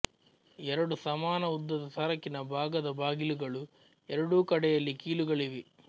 ಎರಡು ಸಮಾನ ಉದ್ದದ ಸರಕಿನ ಭಾಗದ ಬಾಗಿಲುಗಳು ಎರಡೂ ಕಡೆಯಲ್ಲಿ ಕೀಲುಗಳಿವೆ